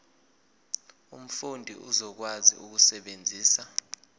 umfundi uzokwazi ukusebenzisa